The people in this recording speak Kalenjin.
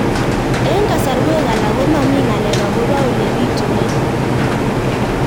Eng' kasarwek alak ko mami ng'alek akopo ole pitunee